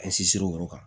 An sinsin o yɔrɔ kan